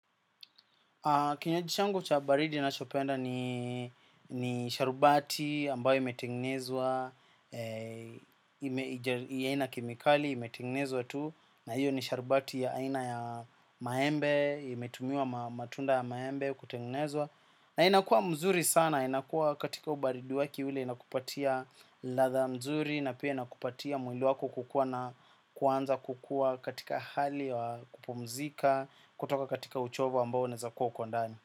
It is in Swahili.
Kinywaji changu cha baridi nachopenda ni sharubati ambayo imetegnezwa, haina kemikali imetegnezwa tu, na hiyo ni sharubati ya aina ya maembe, imetumia matunda ya maembe kutegnezwa. Na inakua mzuri sana, inakua katika ubaridi wake ule inakupatia latha mzuri. Na pia inakupatia mwili wako kukua na kuanza kukua katika hali ya kupumzika. Kutoka katika uchovu ambao unaezakuwa uko ndani.